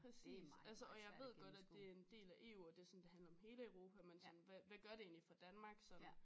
Præcis altså og jeg ved godt at det en del af EU og det sådan det handler om hele Europa men sådan hvad hvad gør det egentlig for Danmark sådan